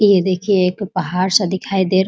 ये देखिए एक पहाड़ सा दिखाई दे रा --